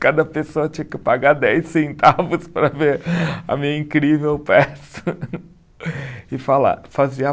cada pessoa tinha que pagar dez centavos para ver a minha incrível peça e falar, fazer a